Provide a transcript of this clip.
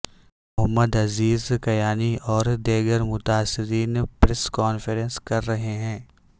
محمد عزیز کیانی اور دیگر متاثرین پریس کانفرنس کر رہے ہیں